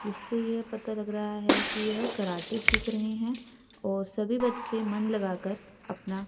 इससे यह पता लग रहा है कि यह कराटे सीख रहे हैं और सभी बच्चे मन लगाकर अपना--